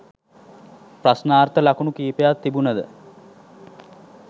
ප්‍රශ්නාර්ථ ලකුණු කිපයක් තිබුණද